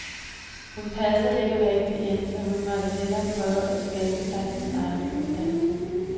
Hun passede ikke rigtig ind, så hun måtte hellere prøve at skabe sig sin egen uddannelse.